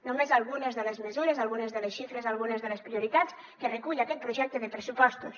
només són algunes de les mesures algunes de les xifres algunes de les prioritats que recull aquest projecte de pressupostos